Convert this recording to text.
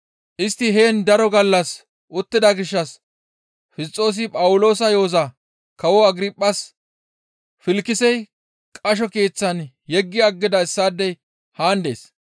Istti heen daro gallas uttida gishshas Fisxoosi Phawuloosa yo7oza Kawo Agirphas, «Filkisey qasho keeththan yeggi aggida issaadey haan dees.